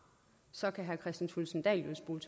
seksten to tusind